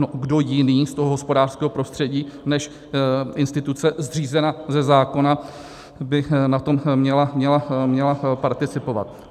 No, kdo jiný z toho hospodářského prostředí než instituce zřízená ze zákona by na tom měla participovat?